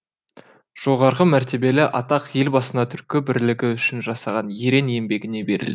жоғарғы мәртебелі атақ елбасына түркі бірлігі үшін жасаған ерең еңбегіне берілді